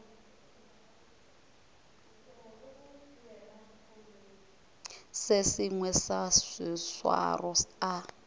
se sengwe sa seswaro a